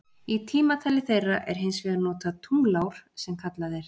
Í tímatali þeirra er hins vegar notað tunglár sem kallað er.